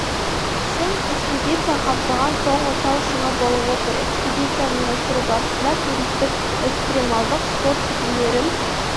шың экспедиция қамтыған соңғы тау шыңы болып отыр экспедицияны ұйымдастыру барысында туристік экстремалдық спорт түрлерін